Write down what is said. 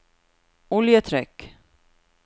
oljetrykk